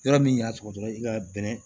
Yɔrɔ min y'a tugu dɔrɔn i ka bɛnɛ